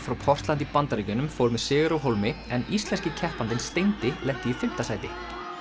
frá Portland í Bandaríkjunum fór með sigur af hólmi en íslenski keppandinn lenti í fimmta sæti